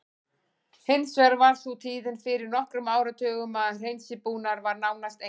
Hins vegar var sú tíðin fyrir nokkrum áratugum að hreinsibúnaður var nánast enginn.